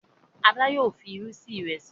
Ada yóò fí ìrù sí Ìrẹsí.